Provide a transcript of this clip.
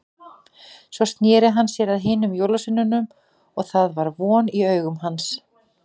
Svo sneri hann sér að hinum jólasveinunum og það var von í augum hans.